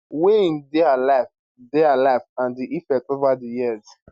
wey im dey alive dey alive and di effect over di years